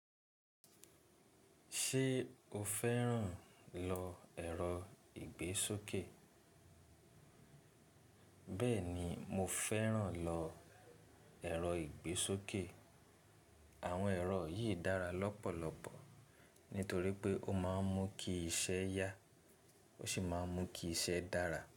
Ṣé o fẹ́ràn lọ ẹ̀rọ ìgbésókè? Bẹ́ẹ̀ni, mo fẹ́ràn lọ ẹ̀rọ ìgbésókè. Àwọn ẹ̀rọ yìí dára lọ́pọ̀lọpọ̀ nítorí pé ó máa ń mú kí iṣẹ́ yá ó sì máa ń mú kí iṣẹ́ dára.